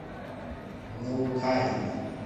наукане